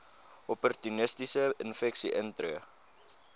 opportunistiese infeksies intree